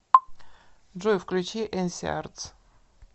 джой включи энси артс